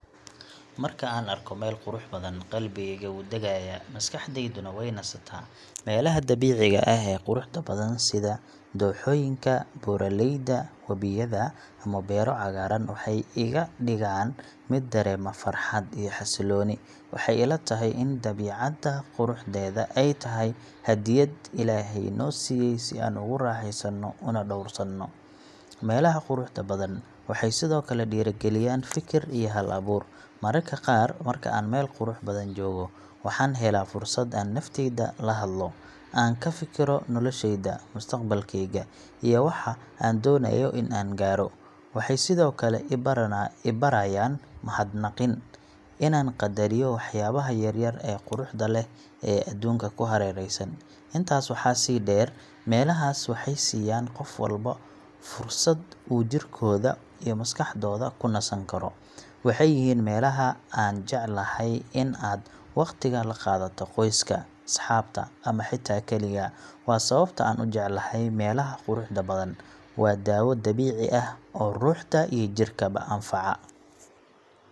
Marka aan arko meel qurux badan, qalbigayga wuu degayaa, maskaxdayduna way nasataa. Meelaha dabiiciga ah ee quruxda badan sida dooxooyinka, buuraleyda, webiyada ama beero cagaaran waxay iga dhigaan mid dareema farxad iyo xasilooni. Waxay ila tahay in dabiicadda quruxdeeda ay tahay hadiyad Ilaahay noo siiyay si aan ugu raaxeysano una dhowrsano. Meelaha quruxda badan waxay sidoo kale dhiirrigeliyaan fikir iyo hal-abuur. Mararka qaar marka aan meel qurux badan joogo, waxaan helaa fursad aan naftayda la hadlo, aan ka fikiro noloshayda, mustaqbalkayga, iyo waxa aan doonayo in aan gaaro. Waxay sidoo kale i barayaan mahadnaqin inaan qadariyo waxyaabaha yaryar ee quruxda leh ee adduunka ku hareeraysan. Intaas waxaa sii dheer, meelahaas waxay siiyaan qof walba fursad uu jirkooda iyo maskaxdooda ku nasan karo. Waxay yihiin meelaha aad jeceshahay in aad waqti la qaadato qoyska, asxaabta ama xitaa kaligaa. Waa sababta aan u jeclahay meelaha quruxda badan waa daawo dabiici ah oo ruuxda iyo jidhkaba anfaca.